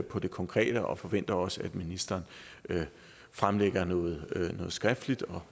på det konkrete og forventer også at ministeren fremlægger noget skriftligt